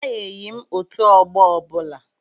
Abanyeghi m otu ọgbọ ọbụla.